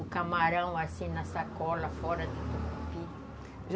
O camarão, assim, na sacola, fora do tucupi.